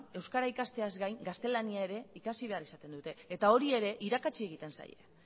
euskara ikasteaz gain gaztelania ere ikasi behar izaten dute eta hori ere irakatsi egiten zaie